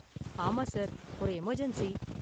ஆமா சார், ஒரு எமர்ஜென்ஸி.